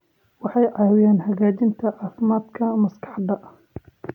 Waxay caawiyaan hagaajinta caafimaadka maskaxda.